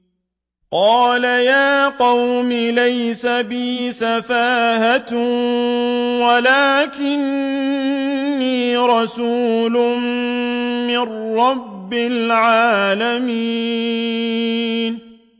قَالَ يَا قَوْمِ لَيْسَ بِي سَفَاهَةٌ وَلَٰكِنِّي رَسُولٌ مِّن رَّبِّ الْعَالَمِينَ